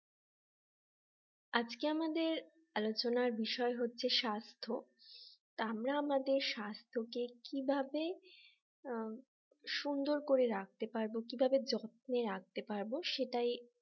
আজকে আমাদের আলোচনার বিষয় হচ্ছে স্বাস্থ্য আমরা আমাদের স্বাস্থ্য কে কিভাবে উম সুন্দর করে রাখতে পারব কিভাবে যত্নে রাখতে পারবো সেটাই